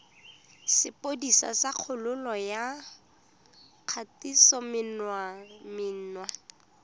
sepodisi sa kgololo ya kgatisomenwa